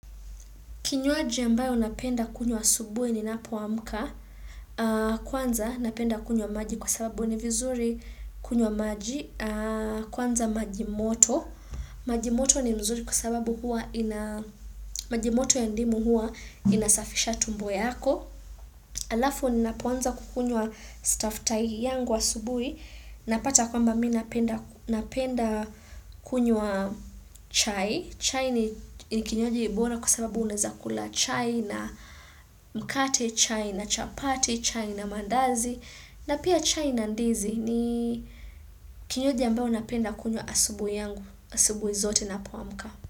Kinywaji ambayo napenda kunywa asubuhi ninapoamka. Kwanza napenda kunywa maji kwa sababu ni vizuri kunywa maji. Kwanza maji moto. Maji moto ni mzuri kwa sababu huwa ina Majimoto ya ndimu hua inasafisha tumbo yako. Halafu ninapoanza kukunywa staftahi yangu ya asubuhi. Napata kwamba mimi napenda kunywa chai. Chai ni kinywaji bora kwa sababu unaweza kula chai na mkate, chai na chapati, chai na maandazi na pia chai na ndizi ni kinywaji ambao napenda kunywa asubuhi yangu, asubuhi zote ninapoamka.